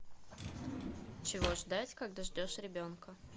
чего ждать когда ждешь ребенка